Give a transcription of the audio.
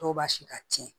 Dɔw b'a si ka tiɲɛ